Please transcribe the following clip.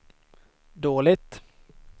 dåligt